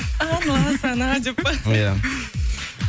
деп па иә